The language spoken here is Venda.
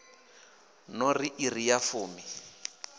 no ri iri ya fumi